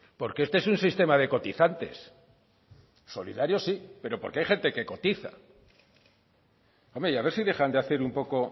porque este es un sistema de cotizantes solidario sí pero porque hay gente que cotiza hombre y a ver si dejan de hacer un poco